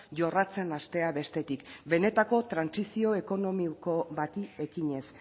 jorratzen hastea bestetik benetako trantsizio ekonomiko bati ekinez